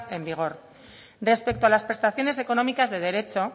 en vigor respecto a las prestaciones económicas de derecho